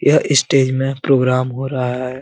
यह स्टेज मे प्रोग्राम हो रहा है।